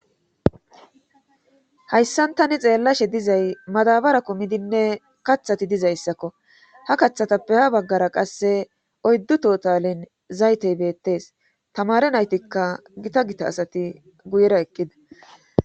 Hayssan tani xeellashe dizay madabara kumidinne kathati dizayssakko ha kathatappe ha baggara qasse oyddu totalin zaytey beettees tamare naytikka gita gita asati guyera eqqida